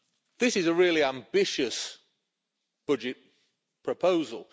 This is a really ambitious budget proposal.